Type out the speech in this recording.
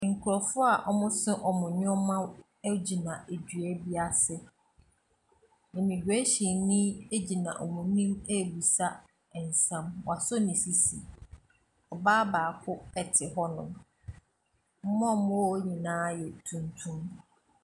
Nkurɔfoɔ a wɔso wɔn nneɛma gyina dua bi ase. Imigerehyinni gyina wɔn anim rebisa nsɛm. Wasɔ ne sisi. Ɔbaa baako te hɔnom. Wɔn a wɔwɔ hɔ nyinaa yɛ tuntum.